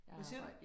Hvad siger du?